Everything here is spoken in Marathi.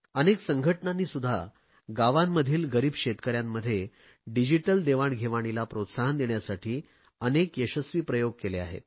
अनेक संघटनांनीसुध्दा गावांमधील गरीब शेतकऱ्यांमध्ये डिजिटल देवाणघेवाणीला प्रोत्साहन देण्यासाठी अनेक यशस्वी प्रयोग केले आहेत